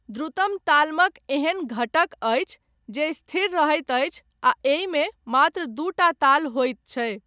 द्रुतम तालमक एहन घटक अछि जे स्थिर रहैत अछि आ एहिमे मात्र दूटा ताल होइत छै।